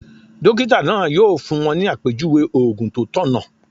Dókítà náà yóò fún wọn ní àpèjúwe ògùn tó tọ̀nà